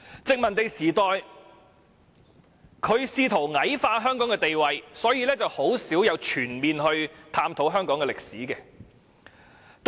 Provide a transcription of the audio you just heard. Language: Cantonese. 殖民地時代，當局試圖矮化香港地位，很少全面探討香港歷史。